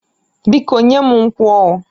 Biko nye m nkwụ oh